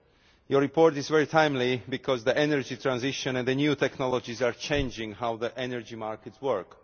The report is very timely because the energy transition and the new technologies are changing how the energy markets work.